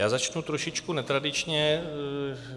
Já začnu trošičku netradičně.